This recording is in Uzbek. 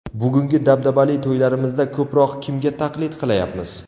Bugungi dabdabali to‘ylarimizda ko‘proq kimga taqlid qilayapmiz?